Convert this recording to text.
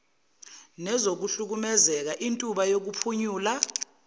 nezokuhlukumezeka intuba yokuphunyula